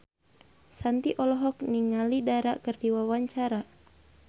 Shanti olohok ningali Dara keur diwawancara